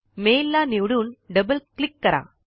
mail ला निवडून double click करा